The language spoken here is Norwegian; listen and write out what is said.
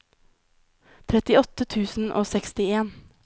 trettiåtte tusen og sekstien